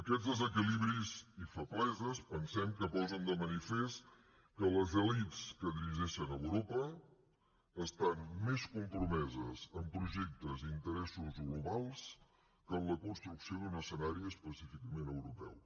aquests desequilibris i febleses pensem que posen de manifest que les elits que dirigeixen europa estan més compromeses en projectes i interessos globals que en la construcció d’un escenari específicament europeu